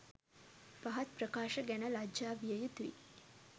පහත් ප්‍රකාශ ගැන ලජ්ජා විය යුතුයි.